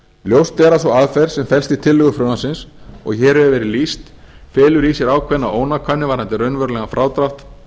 ljóst er sú aðferð sem felst í tillögu frumvarpsins og hér hefur verið lýst felur í sér ákveðna ónákvæmni varðandi raunverulegan frádrátt